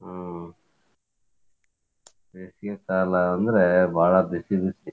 ಹಾ ಬೇಸಿಗೆಕಾಲಾ ಅಂದ್ರೆ ಬಾಳ ಬಿಸಿ ಬಿಸಿ.